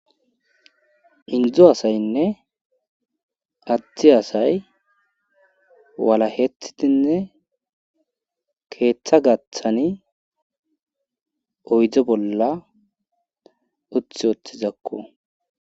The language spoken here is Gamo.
Indzo asaynne addi asay wala heethidinne keeththa gaththani oydzo bolla uth oothtizakku